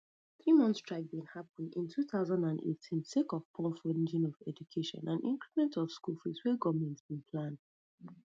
three month strike bin happun in two thousand and eighteen sake of poor funding of education and increment of school fees wey goment bin plan